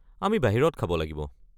আমি বাহিৰত খাব লাগিব।